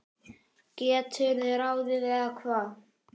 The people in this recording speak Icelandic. geturðu ráðið, eða hvað?